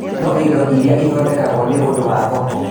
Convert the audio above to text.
No indo iria ithondekagwo nĩ ũndũ wa thoko